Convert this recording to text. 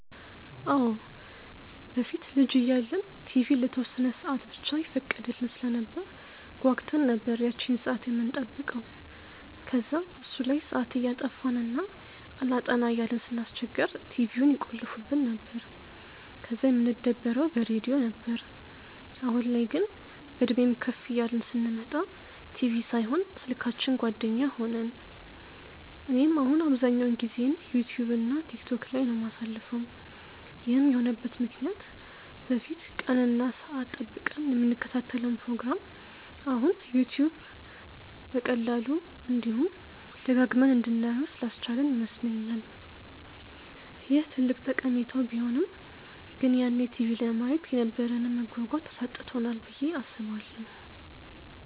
አዎ። በፊት ልጅ እያለን ቲቪ ለተወሰነ ሰአት ብቻ ይፈቀድልን ስለነበር ጓጉተን ነበር ያቺን ሰአት የምንጠብቀው። ከዛ እሱ ላይ ሰአት እያጠፋን እና አላጠና እያልን ስናስቸግር ቲቪውን ይቆልፉብን ነበር፤ ከዛ የምንደበረው በሬድዮ ነበር። አሁን ላይ ግን፤ በእድሜም ከፍ እያልን ስንመጣ ቲቪ ሳይሆን ስልካችን ጓደኛ ሆነን። እኔም አሁን አብዛኛውን ጊዜዬን ዩትዩብ እና ቲክቶክ ላይ ነው የማሳልፈው። ይህም የሆነበት ምክንያት በፊት ቀን እና ሰአት ጠብቀን የምንከታተለውን ፕሮግራም አሁን ዩትዩብ በቀላሉ፤ እንዲሁም ደጋግመን እንድናየው ስላስቻለን ይመስለኛል። ይህ ትልቅ ጠቀሜታው ቢሆንም ግን ያኔ ቲቪ ለማየት የነበረንን መጓጓት አሳጥቶናል ብዬ አስባለሁ።